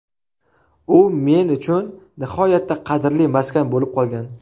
U men uchun nihoyatda qadrli maskan bo‘lib qolgan.